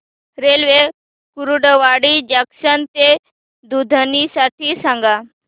railway Kurduwadi junction ते दुधनी साठी सांगा